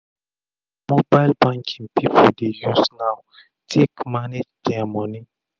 na mobile banking pipu dey use now take manage dia moni